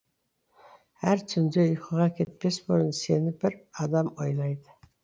әр түнде ұйқыға кетпес бұрын сені бір адам ойлайды